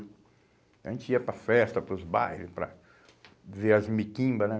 A gente ia para a festa, para os bairros, para ver as miquimbas, né?